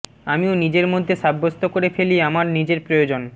আমিও নিজের মধ্যে সাব্যস্ত করে ফেলি আমার নিজের প্রয়োজন